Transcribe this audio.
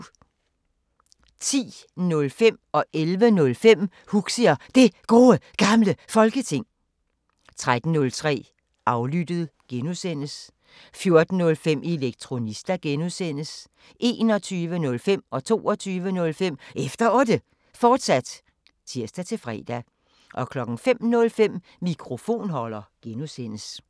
10:05: Huxi og Det Gode Gamle Folketing 11:05: Huxi og Det Gode Gamle Folketing, fortsat 13:05: Aflyttet G) 14:05: Elektronista (G) 21:05: Efter Otte, fortsat (tir-fre) 22:05: Efter Otte, fortsat (tir-fre) 05:05: Mikrofonholder (G)